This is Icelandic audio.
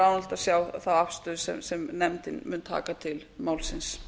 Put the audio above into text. að sjá þá afstöðu sem nefndin mun taka til málsins